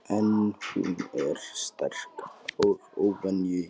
En hún er sterk og óvenju jöfn.